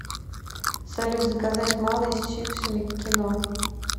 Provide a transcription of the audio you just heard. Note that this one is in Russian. салют заказать малый с чипсами к кино